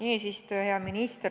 Hea minister!